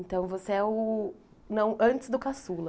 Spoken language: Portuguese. Então você é o não, antes do Caçula.